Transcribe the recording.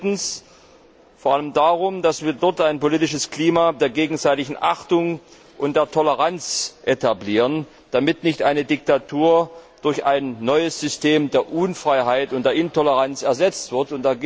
Drittens geht es vor allem darum, dass wir dort ein politisches Klima der gegenseitigen Achtung und der Toleranz etablieren, damit nicht eine Diktatur durch ein neues System der Unfreiheit und der Intoleranz ersetzt wird.